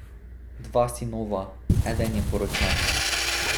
Dva sinova, eden je poročen.